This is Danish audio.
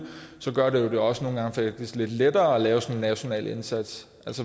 gør det det jo også nogle gange teknisk lidt lettere at lave en national indsats